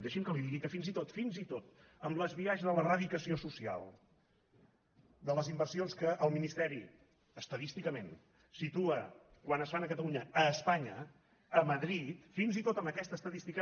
deixi’m que li digui que fins i tot fins i tot amb el biaix de l’eradicació social de les inversions que el ministeri estadísticament situa quan es fan a catalunya a espanya a madrid fins i tot amb aquesta estadística